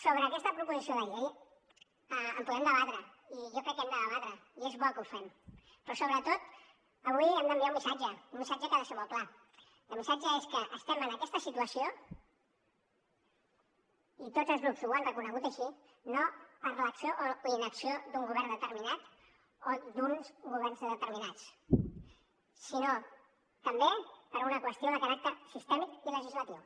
sobre aquesta proposició de llei en podem debatre i jo crec que hem de debatre i és bo que ho fem però sobretot avui hem d’enviar un missatge un missatge que ha de ser molt clar i el missatge és que estem en aquesta situació i tots els grups ho han reconegut així no per l’acció o inacció d’un govern determinat o d’uns governs determinats sinó també per una qüestió de caràcter sistèmic i legislatiu